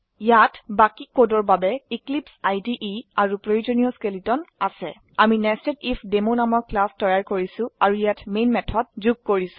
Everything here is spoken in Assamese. ইয়াত বাকি কোডৰ বাবে এক্লিপছে IDEআৰু প্ৰয়োজনীয় স্কেলেটন আছে আমি নেছেডিফডেমো নামৰ ক্লাস তৈৰি কৰিছো আৰু ইয়াত মেন মেথড যুগ কৰিছো